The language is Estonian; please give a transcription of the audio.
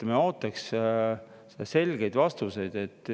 Me ootaks selgeid vastuseid.